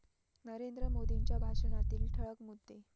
नरेंद्र मोदींच्या भाषणातील ठळक मुद्दे